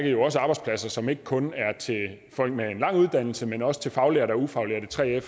jo også arbejdspladser som ikke kun er til folk med en lang uddannelse men også til faglærte og ufaglærte 3fere